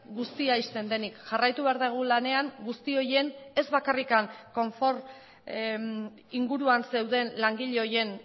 guztia ixten denik jarraitu behar dugu lanean guzti horien ez bakarrik konfort inguruan zeuden langile horien